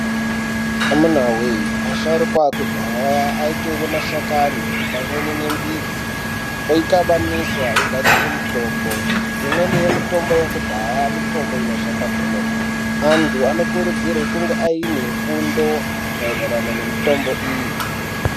Amuna voye asharuka akudhaya aitore mashakani pamweni nembidzi oikabanisa ogadzire mitombo. Imweni yemitombo yekudhaya mutombo inoshanda kwemene. Antu anokurudzirwe kunge aine fundo maererano nemitombo iyi.